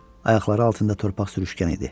Ayaqları altında torpaq sürüşkən idi.